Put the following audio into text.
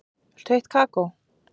Viltu heitt kakó?